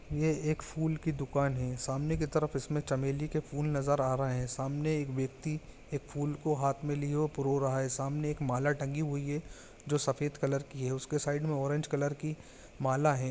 ये एक फूल की दुकान है सामने के तरफ इसमें चमेली के फूल नज़र आ रहे है सामने एक व्यक्ति एक फूल को हाथ में लिए हुए पुरो रहा है सामने एक माला टंगी हुई है जो सफेद कलर की है उसके साइड में ऑरेंज कलर की माला है।